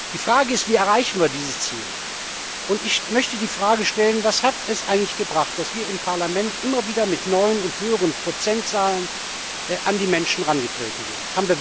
Die Frage ist Wie erreichen wir dieses Ziel? Und ich möchte die Frage stellen Was hat es eigentlich gebracht, dass wir im Parlament immer wieder mit neuen und höheren Prozentzahlen an die Menschen herangetreten sind?